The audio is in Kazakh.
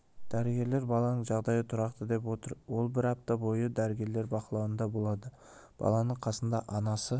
дәрігерлер баланың жағдайы тұрақты деп отыр ол бір апта бойы дәрігерлер бақылауында болады баланың қасында анасы